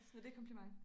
Så det kompliment